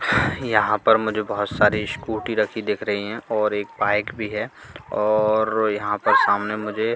यहां पर मुझे बहोत सारी स्कूटी रखीं दिख रही है और एक बाइक भी है और यहां पर सामने मुझे--